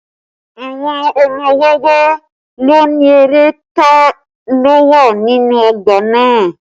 Àwọn ọmọ wẹ́wẹ́ ló ni eré ta lo wà nínú ọgbà náà